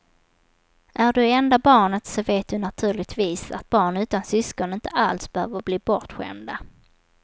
Är du enda barnet så vet du naturligtvis att barn utan syskon inte alls behöver bli bortskämda.